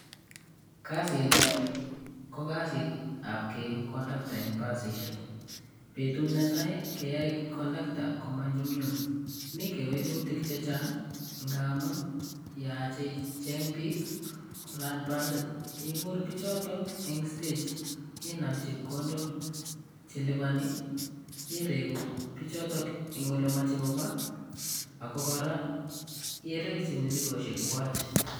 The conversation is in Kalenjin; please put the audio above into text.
Kasitni ko kasit ab keegu conductor eng basishek. Betut neteai keyae conductor komanyumnyum mi kewelutik che chang yachei ijeng bik kolany basit igur bichoto eng stage inam chepkondok cheliboni iregu bichoto eng olemochei kopaa ako kora irekyi misigoshek kwag.